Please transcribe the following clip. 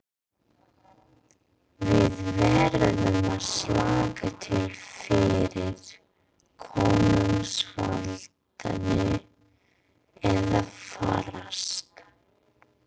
Við verðum að slaka til fyrir konungsvaldinu eða farast.